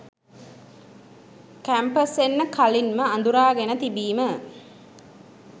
Campus එන්න කලින්ම අදුරාගෙන තිබීම.